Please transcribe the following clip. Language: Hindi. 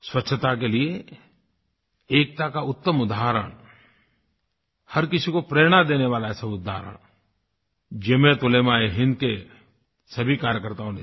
स्वच्छता के लिए एकता का उत्तम उदाहरण हर किसी को प्रेरणा देने वाला ऐसा उदाहरण जमीयत उलेमाएहिन्द के सभी कार्यकर्ताओं ने दिया